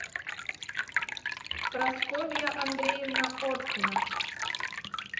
прасковья андреевна оркина